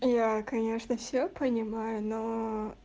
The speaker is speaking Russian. яя конечно все понимаю ноо